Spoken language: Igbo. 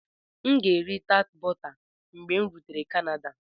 M ga-eri tart bọta mgbe m rutere Canada.